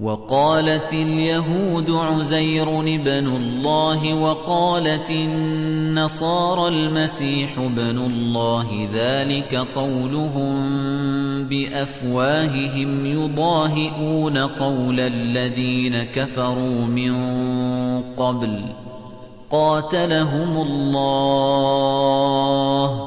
وَقَالَتِ الْيَهُودُ عُزَيْرٌ ابْنُ اللَّهِ وَقَالَتِ النَّصَارَى الْمَسِيحُ ابْنُ اللَّهِ ۖ ذَٰلِكَ قَوْلُهُم بِأَفْوَاهِهِمْ ۖ يُضَاهِئُونَ قَوْلَ الَّذِينَ كَفَرُوا مِن قَبْلُ ۚ قَاتَلَهُمُ اللَّهُ ۚ